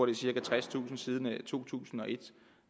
er cirka tredstusind siden to tusind og et